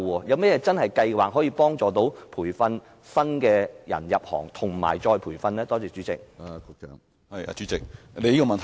政府有何計劃協助培訓新人加入這行業，以及再培訓現有的人才呢？